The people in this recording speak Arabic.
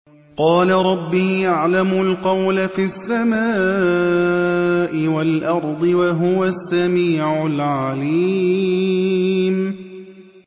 قَالَ رَبِّي يَعْلَمُ الْقَوْلَ فِي السَّمَاءِ وَالْأَرْضِ ۖ وَهُوَ السَّمِيعُ الْعَلِيمُ